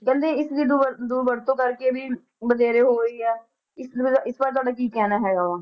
ਕਹਿੰਦੇ ਇਸਦੀ ਦੁਰਵਰ~ ਦੁਰਵਰਤੋਂ ਕਰਕੇ ਵੀ ਵਧੇਰੇ ਹੋ ਰਹੀ ਹੈ, ਇਸਦੇ ਮਤਲਬ ਇਸ ਬਾਰੇ ਤੁਹਾਡਾ ਕੀ ਕਹਿਣਾ ਹੈਗਾ ਵਾ।